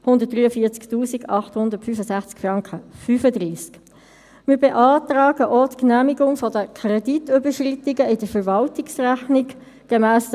Darüber haben wir in der FiKo, aber auch mit der Regierung und den Fachleuten der Verwaltung viel und ausführlich diskutiert.